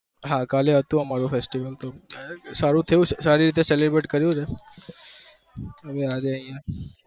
હા કાલે હતું અમ્રુ festival સારી રીતે celebrate કર્યું છે